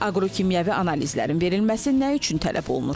Bəs aqrokimyəvi analizlərin verilməsi nə üçün tələb olunur?